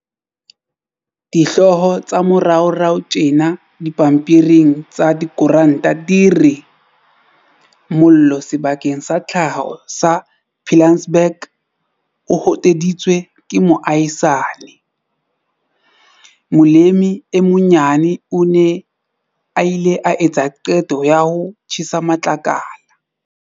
Dihloho tsa moraorao tjena dipampiring tsa dikorante di re- Mollo Sebakeng sa Tlhaho sa Pilansberg 'o hoteditswe ke moahisani'. Molemi e monyane o ne a ile a etsa qeto ya ho tjhesa matlakala.